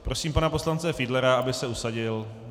Prosím pana poslance Fiedlera, aby se usadil.